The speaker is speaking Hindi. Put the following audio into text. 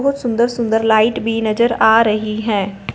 वो सुंदर सुंदर लाइट भी नजर आ रही है।